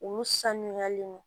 Olu sanuyalen don